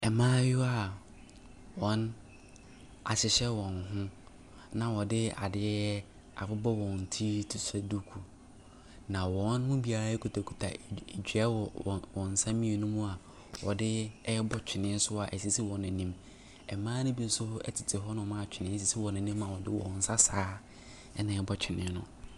Mmaayewa a wɔahyehyɛ wɔn ho, na wɔde adeɛ abobɔ wɔn ti te sɛ duku. Na wɔn mu biara kitakita, d dua wɔ wɔn nsa mmienu mu a wɔde rebɔ twene so a ɛsisi wɔn anim. Mmaa no bi nso tete hɔnom a twene sisi wɔn anim a wɔde wɔn nsa saa ara na ɛrebɔ twene no.